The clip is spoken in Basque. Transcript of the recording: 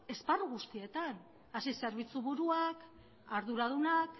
esparru guztietan hasi zerbitzu buruak arduradunak